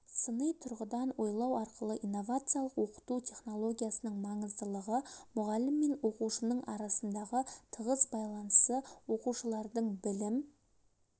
сыни тұрғыдан ойлау арқылы инновациялық оқыту технологиясының маңыздылығы мұғалім мен оқушының арасындағы тығыз байланысы оқушылардың білім